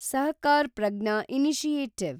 Sahakar Pragya initiative